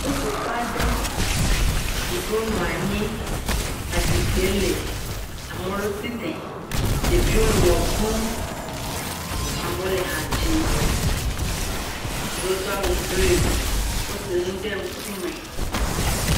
Ƒuƒoƒe aɖe, ame ɖewo nɔ anyi, ezikpui le, ame ɖewo tsi tre, ɖeviwo le ʋe ɖum, amewo le ha dzim, ame ɖewo do awu blu, wosa nu ɖe ŋkume.